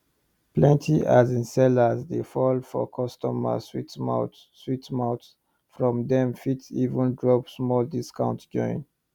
plenty asin sellers dey fall for customers sweet mouth sweet mouth from dem fit even drop small discount join